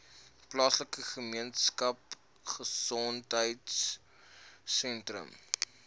plaaslike gemeenskapgesondheid sentrum